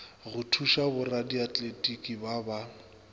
go šupa boradiatletiki ba ba